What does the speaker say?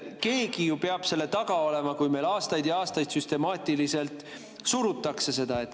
Keegi ju peab selle taga olema, kui meil aastaid ja aastaid süstemaatiliselt seda surutakse.